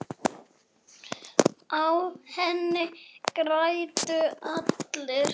Á henni græddu allir.